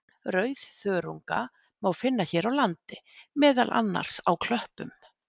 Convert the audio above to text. Rauðþörunga má finna hér á landi, meðal annars á klöppum.